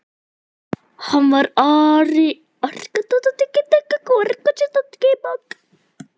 Hann var arkitekt eins og Jakob.